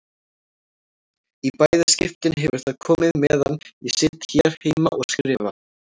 Í bæði skiptin hefur það komið meðan ég sit hér heima og skrifa.